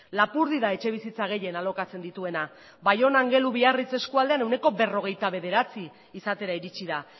lapurdi da etxebizitza gehien alokatzen dituena baiona angelu biarritz eskualdean ehuneko berrogeita bederatzi izatera iritsi da